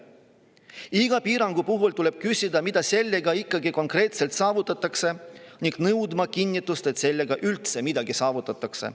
Iga piirangu puhul tuleb küsida, mida sellega ikkagi konkreetselt saavutatakse ning nõudma kinnitust, et sellega üldse midagi saavutatakse.